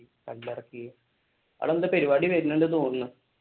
അവിടെ എന്തോ പരിപാടി വരുന്നുണ്ടെന്ന് തോന്നെണ്.